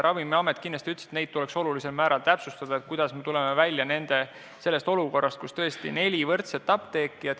Ravimiamet ütles, et seda tuleb olulisel määral täpsustada, kuidas me tuleme välja olukorrast, kus tõesti on neli võrdset apteeki.